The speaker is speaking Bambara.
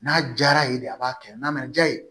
N'a diyara yen de a b'a kɛ n'a ma diya ye